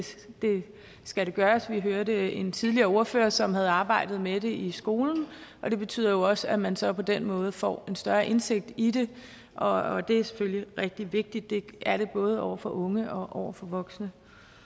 skal gøres vi hørte en tidligere ordfører som havde arbejdet med det i skolen og det betyder jo også at man så på den måde får en større indsigt i det og det er selvfølgelig rigtig vigtigt det er det både over for unge og over for voksne